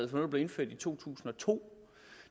der blev indført i to tusind og to